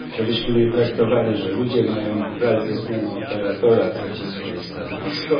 Żebyśmy nie zakładali, że ludzie mają wraz ze zmianą operatora tracić swoje stanowisko.